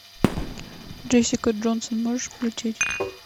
джессика джонсон можешь включить